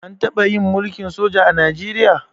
An taɓa yin mulkin soja a Najeriya?